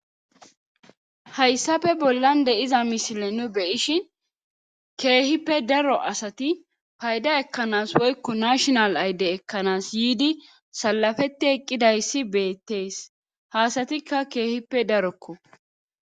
hayssafe bollan de iza misile nu beyishin keehippe daro asati payda ekkanas woykko nashonal ayde ekkanas yiidi salafeti eqqidayssi beettees haasatikka keehippe darokko